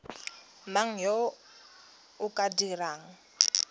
mang yo o ka dirang